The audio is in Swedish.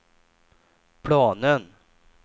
planen